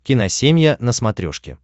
киносемья на смотрешке